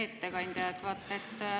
Hea ettekandja!